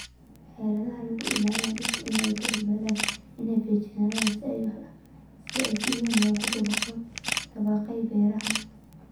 Xeeladaha lagu ilaalinayo dhirta in ay ka badbaadaan infekshannada ayaa si weyn loogu dabaqay beeraha.